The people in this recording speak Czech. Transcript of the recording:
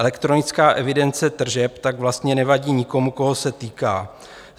Elektronická evidence tržeb tak vlastně nevadí nikomu, koho se týká.